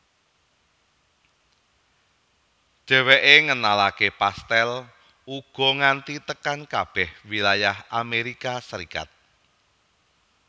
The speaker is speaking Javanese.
Dhéwéké ngenalaké pastèl uga nganti tekan kabeh wilayah Amérika Serikat